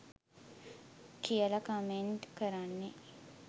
කියල කමෙන්ට් කරන්නේ?